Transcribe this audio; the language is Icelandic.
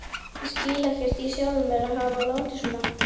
Ég skil ekkert í sjálfri mér að hafa látið svona.